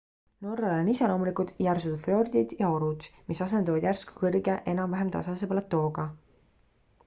norrale on iseloomulikud järsud fjordid ja orud mis asenduvad järsku kõrge enam-vähem tasase platooga